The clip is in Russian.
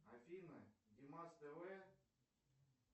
афина димас тв